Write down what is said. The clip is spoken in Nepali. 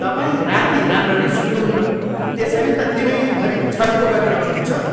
तपाईँ राति राम्ररी सुत्नुहुन्न त्यसैले त दिनैभरि झर्को गरिरहनुहुन्छ।